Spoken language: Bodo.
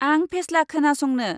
आं फेस्ला खोनासंनो।